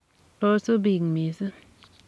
kosub bik missng.